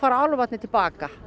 álfarnir til baka